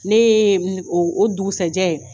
Ne ye o o dugusɛjɛ.